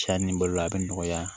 Cɛ ni balola a bɛ nɔgɔya